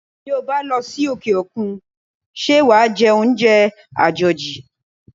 Bí ó bá losi òkè-òkun, ṣé wàá jẹ oúnjẹ àjòjì?